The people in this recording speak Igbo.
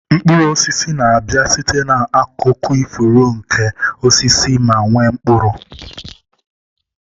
Mkpụrụ osisi na-abịa site na akụkụ ifuru nke osisi ma nwee mkpụrụ.